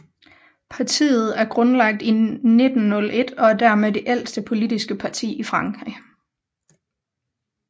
Partiet er grundlagt i 1901 og er dermed det ældste politiske parti i Frankrig